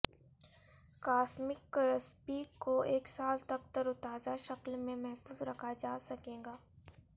cosmic crispy کو ایک سال تک ترو تازہ شکل میں محفوظ رکھا جا سکے گا